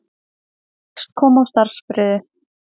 Hyggst koma á starfsfriði